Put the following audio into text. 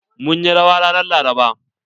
Mun yi rawa ran Laraba.